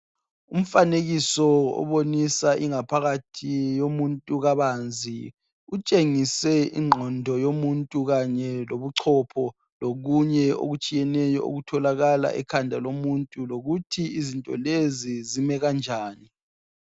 Umfanekiso obonisa ingaphakathi yomuntu kabanzi. Kutshengise ingqondo yomuntu kanye lobuchopho lokunye okutshiyeneyo okutholakala ekhanda lomuntu lokuthi izinto lezi zime kanjani.